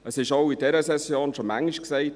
Es wurde auch in dieser Session schon oft gesagt: